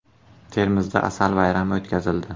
Termizda asal bayrami o‘tkazildi.